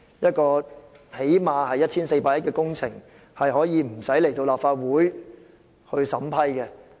這項起碼耗資 1,400 億元的工程，竟可不用提交立法會審批。